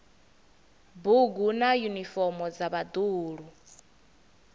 bugu na yunifomo dza vhaḓuhulu